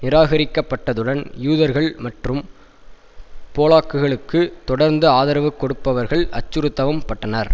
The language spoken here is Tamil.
நிராகரிக்கப்பட்டதுடன் யூதர்கள் மற்றும் போலாக்குகளுக்கு தொடர்ந்த ஆதரவு கொடுப்பவர்கள் அச்சுறுத்தவும் பட்டனர்